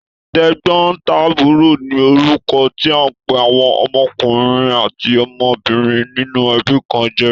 Tẹ̀gbọ́ntàbúrò ni orúkọ tí a n pé àwọn ọmọkùnrin àti ọmọbìnrin nínú ẹbí kan jẹ́.